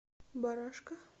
барашка